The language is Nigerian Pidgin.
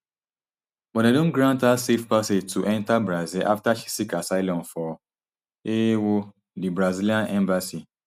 but dem don grant her safe passage to enta brazil afta she seek asylum for ewo di brazilian embassy